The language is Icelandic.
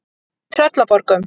Tröllaborgum